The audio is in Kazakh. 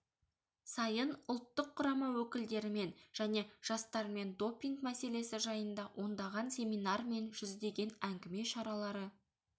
сайын ұлттық құрама өкілдерімен және жастармен допинг мәселесі жайында ондаған семинар мен жүздеген әңгіме шаралары